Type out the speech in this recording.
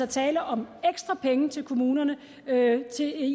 tale om ekstra penge til kommunerne